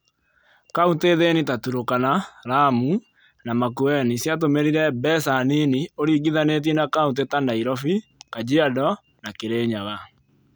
Kauntĩ thĩni ta Turkana, Lamu, na Makueni ciatũmĩrire mbeca nini ũringithanĩtie na kauntĩ ta Nairobi, Kajiado, na Kirinyaga.